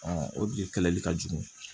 o biriki kɛlɛli ka jugu